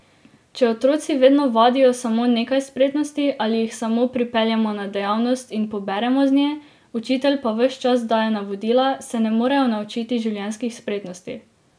Če otroci vedno vadijo samo nekaj spretnosti ali jih samo pripeljemo na dejavnost in poberemo z nje, učitelj pa ves čas daje navodila, se ne morejo naučiti življenjskih spretnosti.